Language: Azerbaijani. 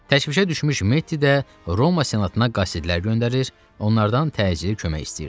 Təşvişə düşmüş Mettida Roma Senatına qasidlər göndərir, onlardan təcili kömək istəyirdi.